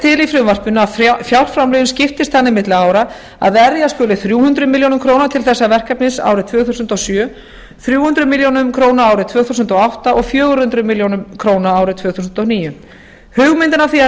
til í frumvarpinu að fjárframlögin skiptist þannig milli ára að vera skuli þrjú hundruð milljóna króna til þessa verkefnis árið tvö þúsund og sjö þrjú hundruð milljóna króna árið tvö þúsund og átta og fjögur hundruð milljóna króna árið tvö þúsund og níu hugmyndin að því að